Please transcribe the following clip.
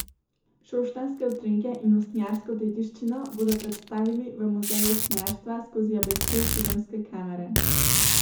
Šoštanjske utrinke in usnjarsko dediščino bodo predstavili v Muzeju usnjarstva skozi objektiv filmske kamere.